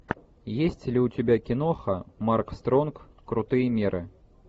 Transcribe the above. есть ли у тебя киноха марк стронг крутые меры